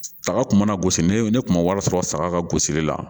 Saga kun mana gosi ni ne kun ma wari sɔrɔ saga ka gosili la